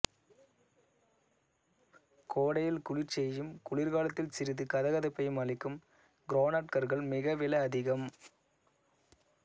கோடையில் குளிர்ச்சியையும் குளிர்காலத்தில் சிறிது கதகதப்பையும் அளிக்கும் கிரானைட் கற்கள் மிக விலை அதிகம்